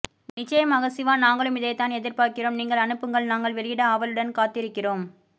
நிச்சயமாக சிவா நாங்களும் இதாய்தான் எதிர் பார்க்கிறோம் நீங்கள் அனுப்புங்கள் நாங்கள் வெளியிட ஆவலுடன் காத்திருக்கிறோம்